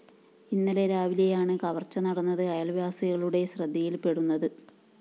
ഇന്നലെ രാവിലെയാണ് കവര്‍ച്ച നടന്നത് അയല്‍വാസികളുടെ ശ്രദ്ധയില്‍പ്പെടുന്നത്